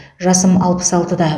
жасым алпыс алтыда